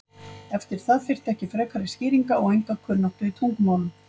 Eftir það þyrfti ekki frekari skýringar og enga kunnáttu í tungumálum.